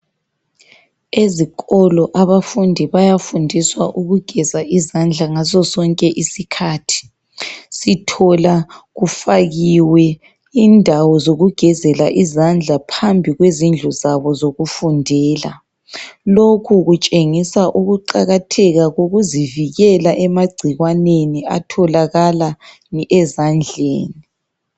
Ezikolo abafundi bayafundiswa ukugeza izandla ngaso sonke isikhathi , sithola kufakiwe indawo zokugezela izandla phambikwe zindlu zabo zokufundela, lokhu kutshengisa ukuqakatheka kokuzivikela emagcikwaneni atholakala ezandleni.